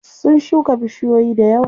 Sun shuka bishiyoyi dayawa.